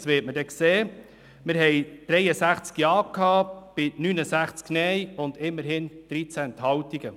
Es waren damals 63 Ja- bei 69 Nein-Stimmen und immerhin 13 Ent- haltungen.